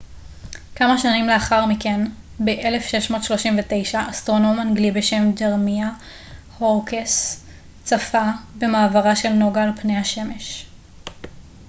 כמה שנים לאחר מכן ב-1639 אסטרונום אנגלי בשם ג'רמיה הורוקס צפה במעברה של נוגה על פני השמש